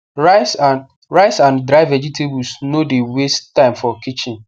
rice and rice and dry vegetables no the waste time for kitchen